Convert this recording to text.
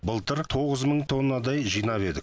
былтыр тоғыз мың тоннадай жинап едік